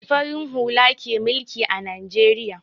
Farin hula ke mulki a Najeriya.